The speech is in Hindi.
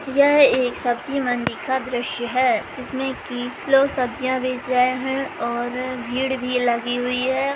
यह एक सब्जी मंडी का दृश्य है जिसमे की लोग सब्जिया बेच रहे है और भीड़ भी लगी हुई है।